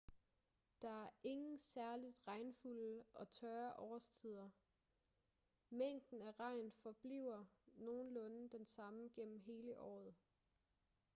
der er ingen særligt regnfulde og tørre årstider mængden af regn forbliver nogenlunde den samme gennem hele året